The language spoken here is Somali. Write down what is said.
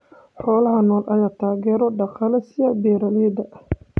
Xoolaha nool ayaa taageero dhaqaale siiya beeralayda.